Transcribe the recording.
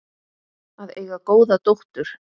Að eiga góða dóttur.